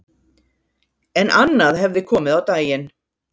En annað hefði komið á daginn